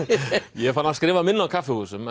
ég er farinn að skrifa minna á kaffihúsum